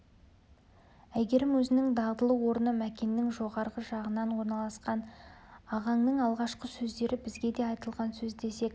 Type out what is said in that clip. әйгерім өзінің дағдылы орны мәкеннің жоғарғы жағынан орналасқан ағаңның алғашқы сөздері бізге де айтылған сөз десек